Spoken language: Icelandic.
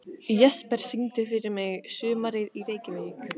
Jesper, syngdu fyrir mig „Sumarið í Reykjavík“.